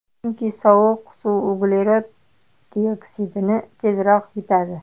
Chunki sovuq suv uglerod dioksidini tezroq yutadi.